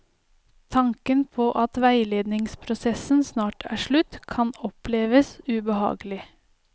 Tanken på at veiledningsprosessen snart er slutt, kan oppleves ubehagelig.